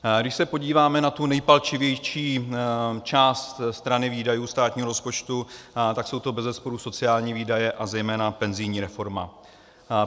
Když se podíváme na tu nejpalčivější část strany výdajů státního rozpočtu, tak jsou to bezesporu sociální výdaje a zejména penzijní reforma.